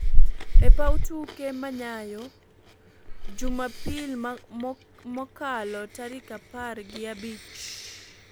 epaw tuke manyayo jumapili makalo tarik apar gi abich[15].